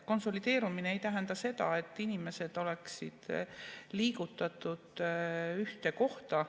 Konsolideerumine ei tähenda seda, et inimesed oleksid liigutatud ühte kohta.